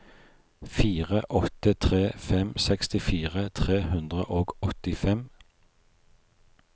fire åtte tre fem sekstifire tre hundre og åttifem